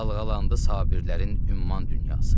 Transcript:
Dalğalandı Sabirlərin ümman dünyası.